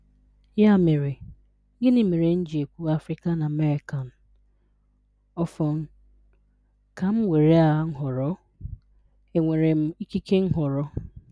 Ya mere, gịnị mere m ji ekwu Afrịkan Ameị́kan? Ọfọn, ka m nwere a nhọrọ? E nwere m ikike nhọrọ?